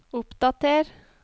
oppdater